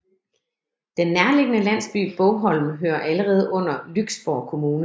Den nærliggende landsby Bogholm hører allerede under Lyksborg Kommune